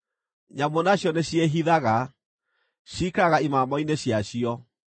Nyamũ nacio nĩciĩhithaga; ciikaraga imamo-inĩ ciacio.